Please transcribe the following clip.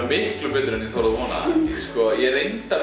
miklu betur en ég þorði að vona sko ég